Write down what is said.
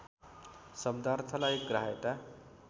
शब्दार्थलाई ग्राह्यता